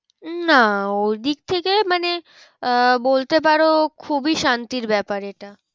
না ওদিক থেকে মানে আহ বলতে পারো খুবই শান্তির ব্যাপার এটা।